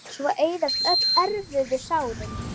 Svo eyðast öll erfiðu sárin.